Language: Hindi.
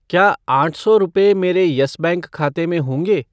क्या आठ सौ रुपये मेरे यस बैंक खाते में होंगे?